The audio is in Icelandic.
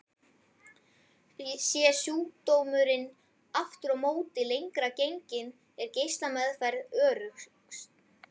Sé sjúkdómurinn aftur á móti lengra genginn er geislameðferð öruggust.